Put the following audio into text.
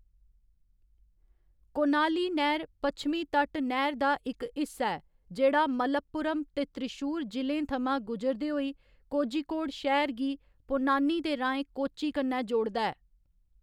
कोनाली नैह्‌‌र, पच्छमी तट नैह्‌‌र दा इक हिस्सा ऐ, जेह्‌‌ड़ा मलप्पुरम ते त्रिशूर जि'लें थमां गुजरदे होई कोझिकोड शैह्‌र गी पोन्नानी दे राहें कोच्चि कन्नै जोड़दा ऐ।